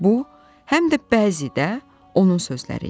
Bu, həm də bəzi də onun sözləri idi.